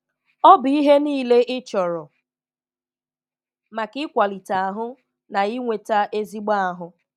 Ọ̀ bụ́ ihè niilè ị̀ chọ̀rọ̀ maka ị̀kwalitè ahụ̀ na ị̀nweta ezigbò ahụ